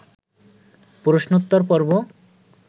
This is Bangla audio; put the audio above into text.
প্রশ্নোত্তর-পর্ব